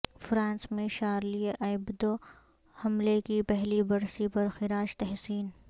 France میں Charlie Hebdo حملے کی پہلی برسی پر خراج تحسین